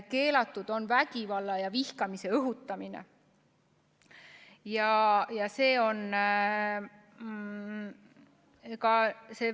Keelatud on vägivalla ja vihkamise õhutamine.